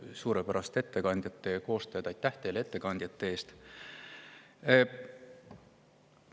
Suurepäraste ettekannete koostajad, aitäh teile ettekannete eest!